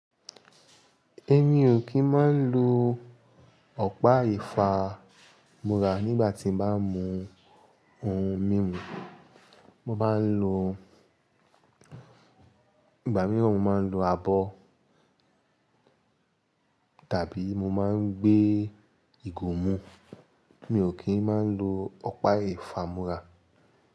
Èmi ò kí ń máa ń lo ọ̀pá ìfámúrà nígbà tí mo bá ń mu ohun mímu. Mo máa ń lo, ìgbà mìíràn mo máa ń lo abọ́ tàbí mo máa ń gbé ìgò mu. Mi ò kí ń máa ń lo ọ̀pá ìfámúrà.